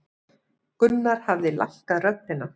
Gunnar hafði lækkað röddina.